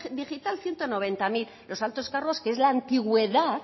digital ciento noventa mil los altos cargos que es la antigüedad